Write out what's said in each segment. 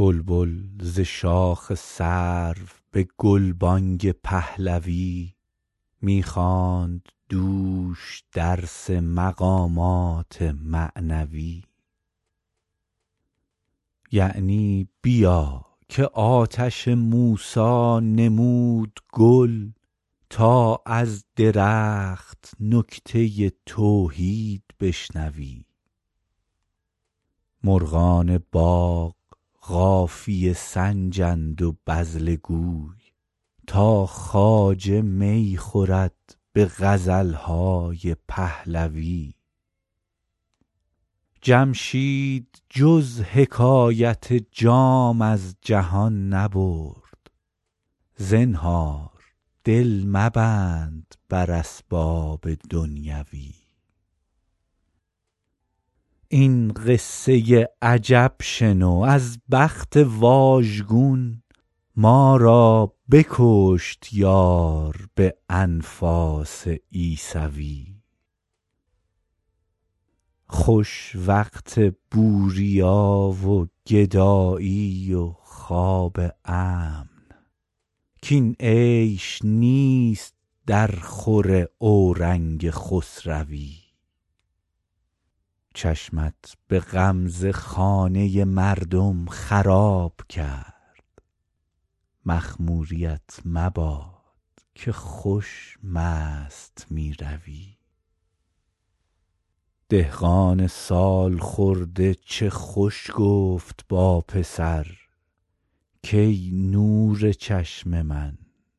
بلبل ز شاخ سرو به گلبانگ پهلوی می خواند دوش درس مقامات معنوی یعنی بیا که آتش موسی نمود گل تا از درخت نکته توحید بشنوی مرغان باغ قافیه سنجند و بذله گوی تا خواجه می خورد به غزل های پهلوی جمشید جز حکایت جام از جهان نبرد زنهار دل مبند بر اسباب دنیوی این قصه عجب شنو از بخت واژگون ما را بکشت یار به انفاس عیسوی خوش وقت بوریا و گدایی و خواب امن کاین عیش نیست درخور اورنگ خسروی چشمت به غمزه خانه مردم خراب کرد مخموریـت مباد که خوش مست می روی دهقان سال خورده چه خوش گفت با پسر کای نور چشم من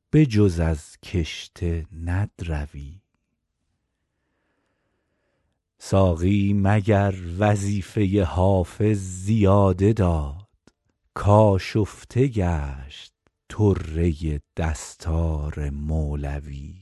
به جز از کشته ندروی ساقی مگر وظیفه حافظ زیاده داد کآشفته گشت طره دستار مولوی